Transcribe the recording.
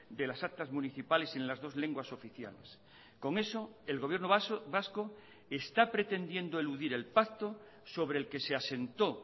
de las actas municipales en las dos lenguas oficiales con eso el gobierno vasco está pretendiendo eludir el pacto sobre el que se asentó